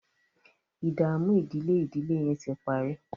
ìdààmú ìdílé ìdílé yén tí parí.